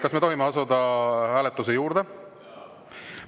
Kas me tohime asuda hääletuse juurde?